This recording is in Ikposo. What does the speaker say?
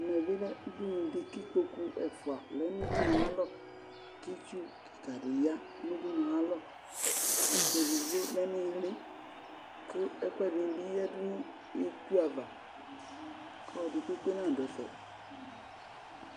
Ɛmɛbi lɛ ʋɖʋnuɖi ,k'ikpoku ɛfua lɛ n'ʋɖʋnʋalɔK'itsu kikaɖi yaa nʋ ʋɖʋnʋalɔ Ɛkplɔ ɛɖigbo lɛ iili, kʋ ɛkʋɛɖinibi yeaɖʋ nʋ itsuava k'ɔlɔɖi kpekpe naɖʋ ɛfɛ